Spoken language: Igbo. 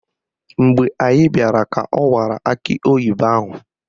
Mgbe anyị bịara ka ọ kụwara akị oyibo ahụ